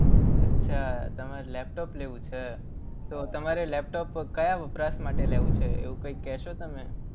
અચ્છા તમારે લેપટોપ લેવું છે. તો તમારે લેપટોપ કયા વપરાશ માટે લેવું છે? એવું કંઈ કહેશો તમે.